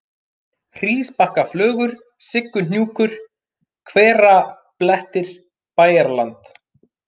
Hrísbakkaflögur, Sigguhnjúkur, Hverablettir, Bæjarland